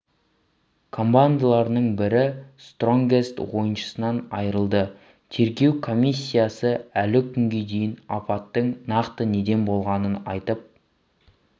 командаларының бірі стронгест ойыншысынан айырылды тергеу комиссиясы әлі күнге дейін апаттың нақты неден болғанын айтып